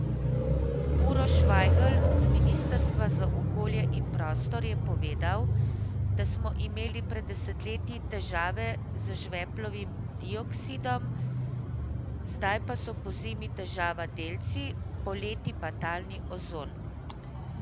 Uroš Vajgl z ministrstva za okolje in prostor je povedal, da smo imeli pred desetletji težave z žveplovim dioksidom, zdaj pa so pozimi težava delci, poleti pa talni ozon.